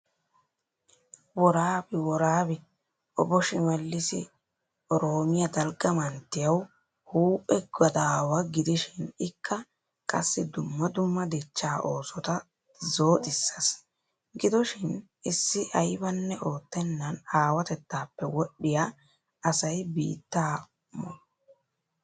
Woraabi woraabi Obo shimelis Oroomiya dalgga manttiyawu huuphphe gadaawaa gidishin ikka qassi dumma dumma dichchaa oosota zooxxisees. Gidoshiin issi aybbanne oottennan awatettaappe wodhdhiya asay biittaa mo!